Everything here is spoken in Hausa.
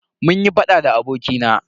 Munyi faɗa ne da abokina.